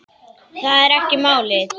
Það er ekki málið.